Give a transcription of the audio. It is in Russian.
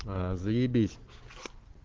заебись